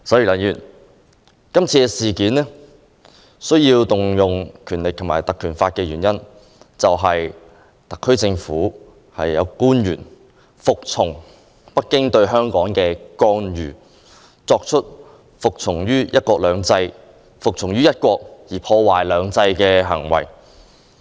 今次需要引用《條例》，就是因為特區政府有官員服從於北京對香港的干預，做出服從於"一國"而破壞"兩制"的行為。